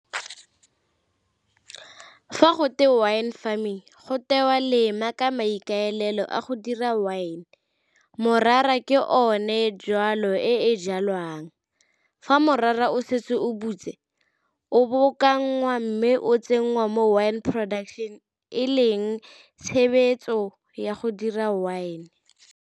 Fa gotwe wine farming gotewa lema ka maikaelelo a go dira wine. Morara ke one jwalo e e jalwang, fa morara o setse o butse o mme o tsenngwa mo wine production e leng tshebetso ya go dira wine.